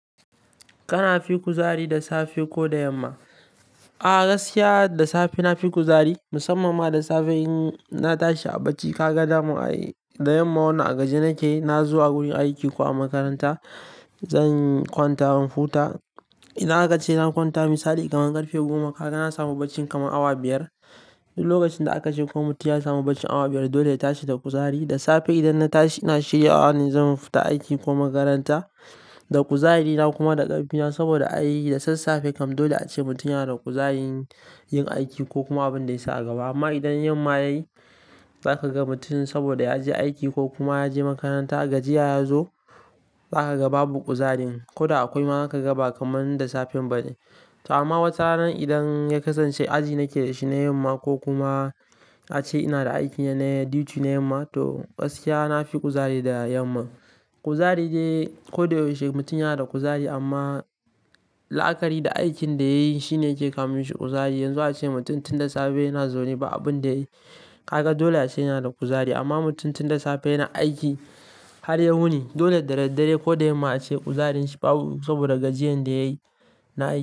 Kana fi kuzari da safe ko da yamma? A'a gaskiya da safe na fi kuzari, musamman ma da safe in na tashi a barci. Ka ga dama da yamma wannan a gajiya nake, na zo a wurin aiki ko a makaranta zan kwanta in huta. In aka ce zan kwanta misali kamar ƙarfe goma, ka ga na samu barci kamar awa biyar. Lokacin da aka ce ko mutum ya samu barcin awa biyar dole ya tashi da kuzari. Da safe idan na tashi ina shiryawa zan fita aiki ko makaranta da kuzari na kuma da ƙarfi na saboda ai da sassafe kam dole ace mutum yana da kuzari yin aiki ko kuma abin da ya sa a gaba. Amma idan yamma yayi za ka ga mutum saboda ya je aiki ko kuma ya je makaranta gajiya ya zo za ka ga babu ƙuzarin. Koda akwai ma za ka ga ba kamar da safe bane. To amma wataran idan ya kasance aji nake da shi ne yamma ko kuma ace ina da aikina ne duty ne yamma to gaskiya na fi kuzari da yamma. Kuzari dai, ko da yaushe mutum yana da kuzari amma la'akari da aikin da ya yi shine yake kawo mishi kuzari. Yanzu ace mutum tun da safe yana zaune ba abin da ya yi. Ka ga dole ya ce yana da kuzari. Amma mutum tun da safe yana aiki har ya wuni. Dole da daddare ko da yamma ace ƙuzarinshi babu saboda gajiyar da ya yi na aiki.